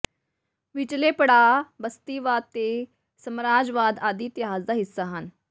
ਵਿਚਲੇ ਪੜਾਅ ਬਸਤੀਵਾਦ ਤੇ ਸਾਮਰਾਜਵਾਦ ਆਦਿ ਇਤਿਹਾਸ ਦਾ ਹਿੱਸਾ ਹਨ